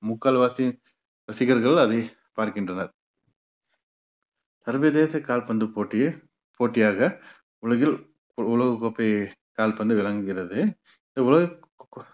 முக்கால்வாசி ரசிகர்கள் அதை பார்க்கின்றனர் சர்வதேச கால்பந்து போட்டியில் போட்டியாக உலகில் உலக கோப்பை கால்பந்து விளங்குகிறது இந்த உலக கோ~